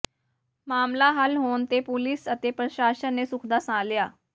ਮਾਮਲਾ ਹੱਲ ਹੋਣ ਤੇ ਪੁਲੀਸ ਅਤੇ ਪ੍ਰਸਾਸ਼ਨ ਨੇ ਸੁਖ ਦਾ ਸਾਹ ਲਿਆ